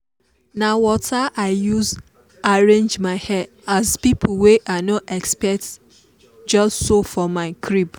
na water i use arrange my hair as people wey i no expect just show for my crib.